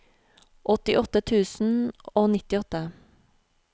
åttiåtte tusen og nittiåtte